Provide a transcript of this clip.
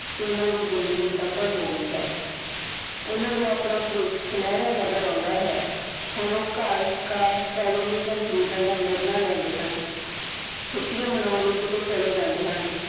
ਕਿ ਉਹਨਾਂ ਦੀ ਜ਼ਿੰਦਗੀ ਸਫ਼ਲ ਹੋ ਗਈ ਹੈ ਉਹਨਾਂ ਨੂੰ ਆਪਣਾ ਭਵਿੱਖ ਸੁਨਿਹਰਾ ਨਜ਼ਰ ਆਉਂਦਾ ਹੈ, ਹੁਣ ਉਹ ਘਰ ਕਾਰ ਟੈਲੀਵਿਜ਼ਨ ਖ਼ਰੀਦਣ ਦਾ ਨਿਰਣਾ ਲੈਂਦੇ ਹਨ, ਛੁੱਟੀਆਂ ਮਨਾਉਣ ਲਈ ਕਿਤੇ ਚਲੇ ਜਾਂਦੇ ਹਨ।